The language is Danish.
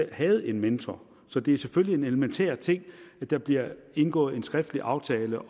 havde en mentor så det er selvfølgelig en elementær ting at der bliver indgået en skriftlig aftale